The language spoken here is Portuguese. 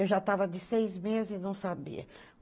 Eu já estava de seis meses e não sabia.